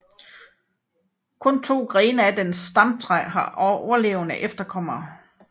Kun to grene af dens stamtræ har overlevende efterkommere